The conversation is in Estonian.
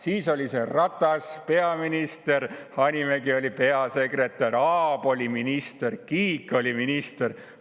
Siis oli Ratas peaminister, Hanimägi oli peasekretär, Aab oli minister, Kiik oli minister.